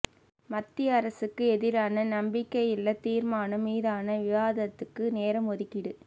மத்திய அரசுக்கு எதிரான நம்பிக்கையில்லா தீர்மானம் மீதான விவாதத்துக்கு நேரம் ஒதுக்கீடு